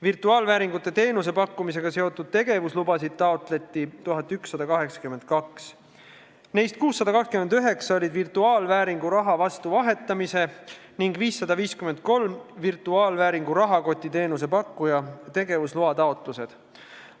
Virtuaalvääringuga seotud teenuse pakkumisega seotud tegevuslubasid taotleti 1182, neist 629 olid virtuaalvääringu raha vastu vahetamise ning 553 virtuaalvääringu rahakotiteenuse pakkuja tegevusloa taotlused.